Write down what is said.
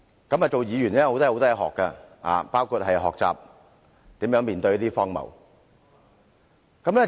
擔任議員可以學到很多東西，包括學習如何面對荒謬。